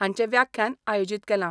हांचें व्याख्यान आयोजीत केलां.